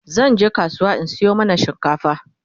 zanje kasuwa in Sayo mana shinkafa